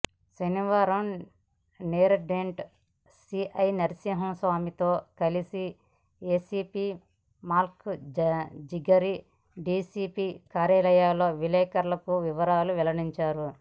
శనివారం నేరేడ్మెట్ సీఐ నర్సింహ్మాస్వామితో కలిసి ఏసీపీ మల్కాజిగిరి డీసీపీ కార్యాలయంలో విలేకరులకు వివరాలు వెల్లడించారు